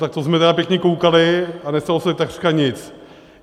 Tak to jsme tedy pěkně koukali, a nestalo se takřka nic.